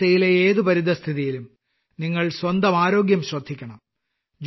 കാലാവസ്ഥയിലെ ഏത് പരിതസ്ഥിതിയിലും നിങ്ങൾ സ്വന്തം ആരോഗ്യം ശ്രദ്ധിയ്ക്കണം